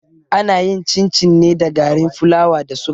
Ana yin cin-cin ne da garin fulawa da suga.